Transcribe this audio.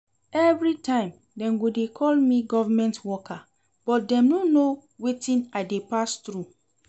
Everytime dem go dey call me government worker but dem no know wetin I dey pass through